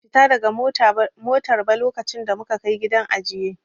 Ban iya fita daga motar ba lokacin da muka Kai gidan ajiye.